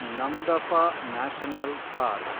Namdapha national park